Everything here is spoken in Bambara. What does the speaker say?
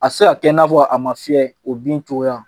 A te se ka kɛ i n'a fɔ a ma fiyɛ, o bin cogoya